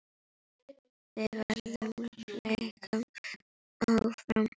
Verða leikmenn áfram?